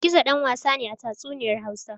Gizo ɗan wasa ne a tatsuniyar Hausa.